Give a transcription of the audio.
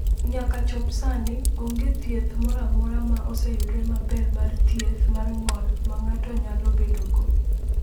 "Nyaka chop sani, onge thieth moro amora ma oseyudore maber mar thieth mar ng’ol ma ng’ato nyalo bedogo."